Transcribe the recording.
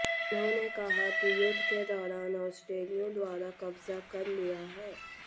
उन्होंने कहा कि युद्ध के दौरान ऑस्ट्रेलियाइयों द्वारा कब्जा कर लिया है